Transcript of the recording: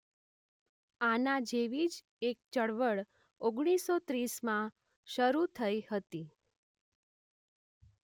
આના જેવી જ એક ચળવળ ઓગણીસસો ત્રીસમાં શરૂ થઈ હતી.